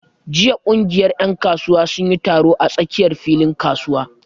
Jiya ƙungiyar ƴan kasuwa sun yi taro a tsakiyar filin kasuwa.